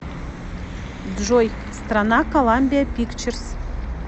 джой страна коламбиа пикчерз